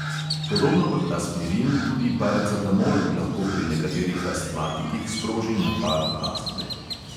Podobno kot aspirin tudi paracetamol lahko pri nekaterih astmatikih sproži napad astme.